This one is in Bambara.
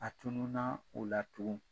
A tununna o la tugun.